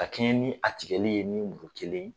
Ka kɛɲɛ ni a tigɛli ye ni muru kelen ye.